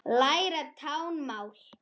Læra táknmál